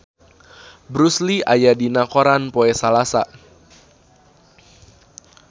Bruce Lee aya dina koran poe Salasa